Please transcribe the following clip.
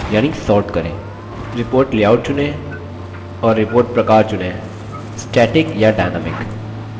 report layout चुनें और report प्रकार चुनें:static या dynamic